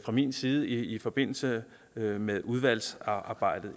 min side i forbindelse med udvalgsarbejdet